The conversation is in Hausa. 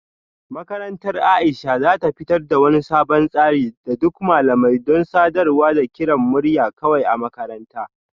Makarantar Aisha za ta fitar da wani sabon tsari na duk malamai don sadarwa da kiran murya kawai a makaranta